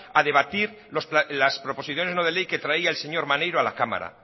a debatir las proposiciones no de ley que traída el señor maneiro a la cámara